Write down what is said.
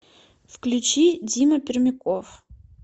включи дима пермяков